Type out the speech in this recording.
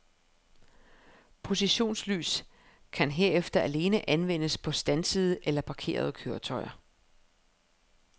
Positionslys kan herefter alene anvendes på standsede eller parkerede køretøjer.